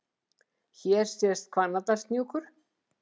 Hér sést Hvannadalshnjúkur.